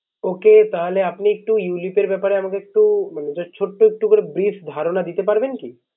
Okay তাহলে আপনি একটু ulip এর ব্যাপারে আমাকে একটু just ছোট একটু করে Brief ধারনা দিতে পারবেন কি?